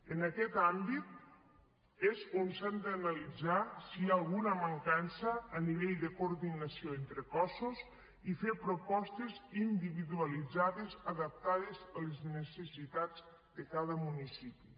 en aquest àmbit és on s’ha d’analitzar si hi ha alguna mancança a nivell de coordinació entre cossos i fer propostes individualitzades adaptades a les necessitats de cada municipi